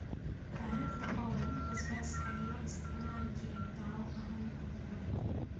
Taariikhda oo dhan, basbaaska ayaa loo isticmaali jiray dawo ahaan caafimaad.